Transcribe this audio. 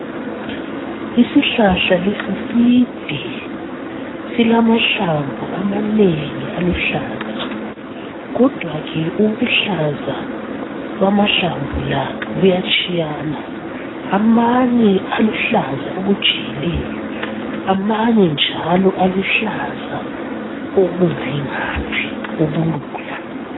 Isihlahla lesi side silamahlamvu amanengi aluhlaza. Kodwa-ke ubuluhlaza bamahlamvu la buyatshiyana. Amanye aluhlaza okujiyileyo, amanye njalo aluhlaza okungayi ngaphi, okulula.